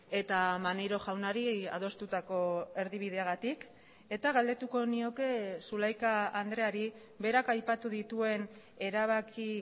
eta maneiro jaunari adostutako erdibideagatik eta galdetuko nioke zulaika andreari berak aipatu dituen erabaki